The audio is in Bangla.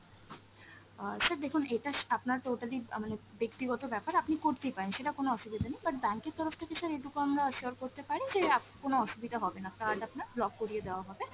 অ্যাঁ sir দেখুন এটা আপনার totally আ মানে ব্যাক্তিগত ব্যাপার, আপনি করতেই পারেন সেটা কোন অসুবিধা নেই, but bank এর তরফ থেকে sir এইটুকু আমরা assure করতে পারি যে আ কোন অসুবিধা হবেনা, card আপনার block করিয়ে দেওয়া হবে।